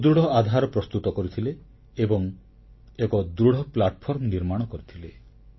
ସୁଦୃଢ଼ ଆଧାର ପ୍ରସ୍ତୁତ କରିଥିଲେ ଏବଂ ଏକ ଦୃଢ଼ ଭିତ୍ତି ବା ମଞ୍ଚ ନିର୍ମାଣ କରିଥିଲେ